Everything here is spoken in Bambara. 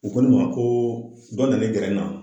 U ko ne ma ko dɔ nana gɛrɛ n na